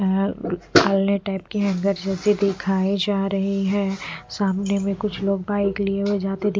अले टाइप की हैंगर जैसी दिखाई जा रही है सामने में कुछ लोग बाइक लिए हुए जाते दि --